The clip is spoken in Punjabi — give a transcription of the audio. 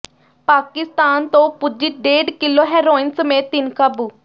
ਪਾਕਿਸਤਾਨ ਤੋਂ ਪੁੱਜੀ ਡੇਢ ਕਿੱਲੋ ਹੈਰੋਇਨ ਸਮੇਤ ਤਿੰਨ ਕਾਬੂ